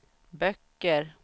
böcker